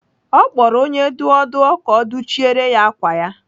Ọ kpọrọ onye dụọ dụọ ka ọ dụchiere ya ákwà ya.